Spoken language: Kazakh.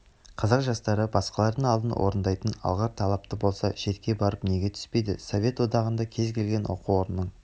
қазақ жастары басқалардың алдын орайтындай алғыр талапты болса шетке барып неге түспейді совет одағында кез келген оқу орынының